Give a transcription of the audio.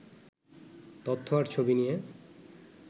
তথ্য আর ছবি নিয়ে